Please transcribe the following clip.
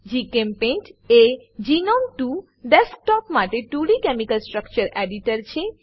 જીચેમ્પેઇન્ટ એ GNOME 2 desktop માટે 2ડી કેમિકલ સ્ટ્રક્ચર એડિટર છે